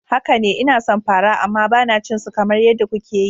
Haka ne, ina son fara amma ba na cin su kamar yadda kuke yi.